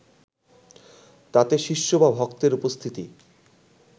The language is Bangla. তাতে শিষ্য বা ভক্তের উপস্থিতি